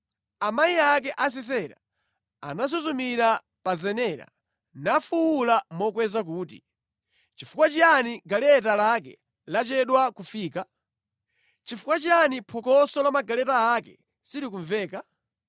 “Amayi ake a Sisera anasuzumira pa zenera; nafuwula mokweza kuti, ‘Nʼchifukwa chiyani galeta lake lachedwa kufika? Nʼchifukwa chiyani phokoso la magaleta ake silikumveka?’